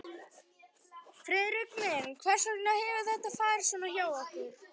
Friðrik minn, hvers vegna hefur þetta farið svona hjá okkur?